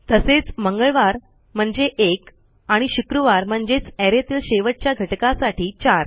तसेच ट्यूसडे म्हणजे एक आणि फ्रिडे म्हणजेच arrayतील शेवटच्या घटकासाठी चार